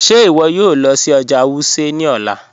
Ṣẹ iwọ yòò lọ sí ọjà Wuse ni ọlá?